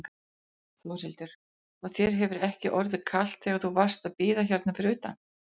Þórhildur: Og þér hefur ekki orðið kalt þegar þú varst að bíða hérna fyrir utan?